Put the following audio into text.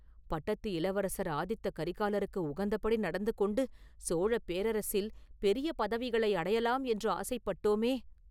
பட்டத்து இளவரசர் ஆதித்த கரிகாலருக்கு உகந்தபடி நடந்து கொண்டு சோழப் பேரரசில் பெரிய பதவிகளை அடையலாம் என்று ஆசைப்பட்டோமே!